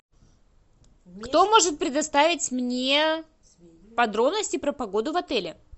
кто может предоставить мне подробности про погоду в отеле